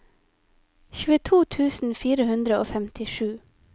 tjueto tusen fire hundre og femtisju